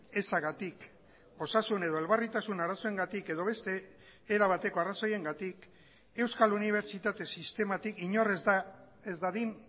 ezagatik osasun edo elbarritasun arazoengatik edo beste erabateko arrazoiengatik euskal unibertsitate sistematik inor ez dadin